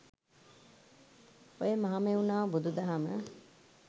ඔය මහමෙව්නාව බුදු දහම